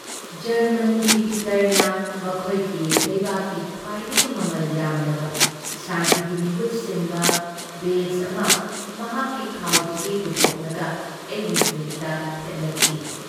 ꯖꯔꯃꯅꯤꯒꯤ ꯄꯤꯇꯔꯅ ꯃꯈꯣꯏꯒꯤ ꯂꯩꯕꯥꯛꯀꯤ ꯈ꯭ꯋꯥꯏꯗꯒꯤ ꯃꯃꯜ ꯌꯥꯝꯂꯕ ꯁꯥꯟꯇꯤꯒꯤ ꯃꯤꯍꯨꯠ ꯁꯤꯟꯕ ꯕꯦꯖ ꯑꯃ ꯃꯍꯥꯛꯀꯤ ꯈꯥꯎꯗꯒꯤ ꯄꯨꯊꯣꯛꯂꯒ ꯑꯩꯒꯤ ꯐꯨꯔꯤꯠꯇ ꯊꯦꯠꯂꯛꯈꯤ ꯫